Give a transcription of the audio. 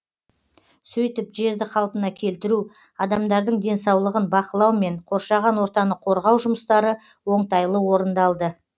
сөйтіп жерді қалпына келтіру адамдардың денсаулығын бақылау мен қоршаған ортаны қорғау жұмыстары оңтайлы орындалды